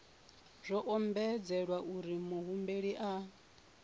zwo ombedzelwa uri muhumbeli a